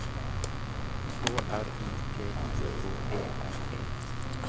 K R I T I K E R E